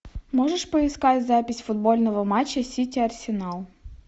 можешь поискать запись футбольного матча сити арсенал